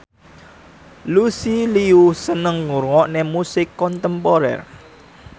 Lucy Liu seneng ngrungokne musik kontemporer